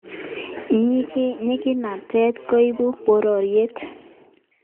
Nyikanatet koipu porotet